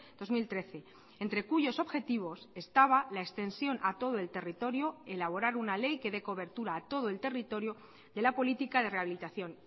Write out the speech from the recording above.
dos mil trece entre cuyos objetivos estaba la extensión a todo el territorio elaborar una ley que dé cobertura a todo el territorio de la política de rehabilitación